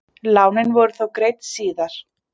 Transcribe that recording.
Lánin voru þó greidd síðar.